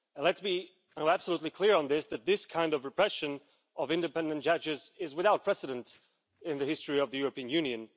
Let's be absolutely clear on this this kind of repression of independent judges is without precedent in the history of the European Union.